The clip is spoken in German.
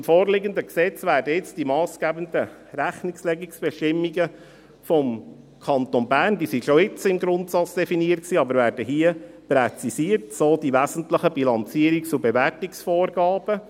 Im vorliegenden Gesetz werden die massgebenden Rechnungslegungsbestimmungen des Kantons hier präzisiert – diese waren schon jetzt im Grundsatz definiert, so die wesentlichen Bilanzierungs- und Bewertungsvorgaben.